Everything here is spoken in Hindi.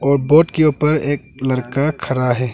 और बोर्ड के ऊपर एक लरका खरा है।